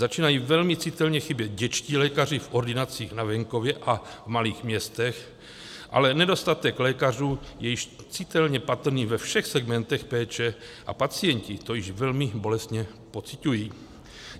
Začínají velmi citelně chybět dětští lékaři v ordinacích na venkově a v malých městech, ale nedostatek lékařů je již citelně patrný ve všech segmentech péče a pacienti to již velmi bolestně pociťují.